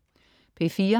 P4: